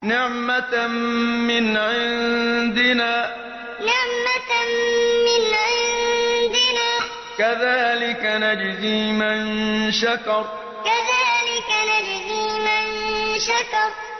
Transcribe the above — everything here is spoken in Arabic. نِّعْمَةً مِّنْ عِندِنَا ۚ كَذَٰلِكَ نَجْزِي مَن شَكَرَ نِّعْمَةً مِّنْ عِندِنَا ۚ كَذَٰلِكَ نَجْزِي مَن شَكَرَ